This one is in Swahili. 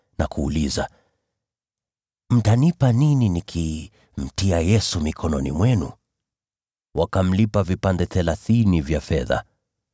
na kuuliza, “Mtanipa nini nikimtia Yesu mikononi mwenu?” Wakamlipa vipande thelathini vya fedha.